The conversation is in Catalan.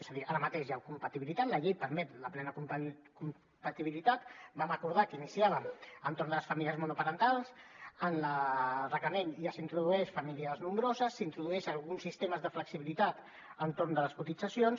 és a dir ara mateix hi ha compatibilitat la llei permet la plena compatibilitat vam acordar que iniciàvem per les famílies monoparentals en el reglament ja s’introdueixen les famílies nombroses s’introdueix algun sistema de flexibilitat a l’entorn de les cotitzacions